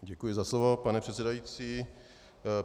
Děkuji za slovo, pane předsedající.